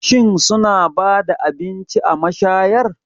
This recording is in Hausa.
Shin suna ba da abinci a mashayar?